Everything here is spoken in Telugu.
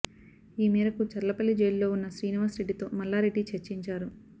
ఈ మేరకు చర్లపల్లి జైలులో ఉన్న శ్రీనివాస్ రెడ్డితో మల్లారెడ్డి చర్చించారు